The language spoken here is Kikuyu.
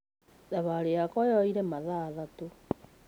Thabarĩ yakwa yoirĩ mathaa matatu